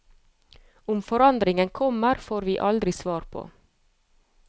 Om forandringen kommer, får vi aldri svar på.